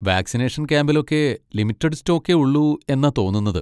Vaccination ക്യാമ്പിലൊക്കെ limited സ്റ്റോക്കേ ഉള്ളൂ എന്നാ തോന്നുന്നത്.